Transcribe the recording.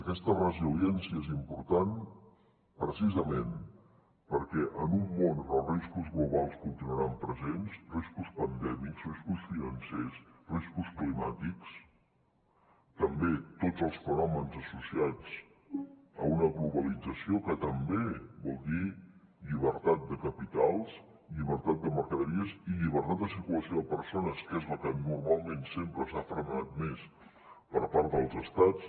aquesta resiliència és important precisament perquè en un món on els riscos globals continuaran presents riscos pandèmics riscos financers riscos climàtics també tots els fenòmens associats a una globalització que també vol dir llibertat de capitals llibertat de mercaderies i llibertat de circulació de persones que és la que normalment sempre s’ha frenat més per part dels estats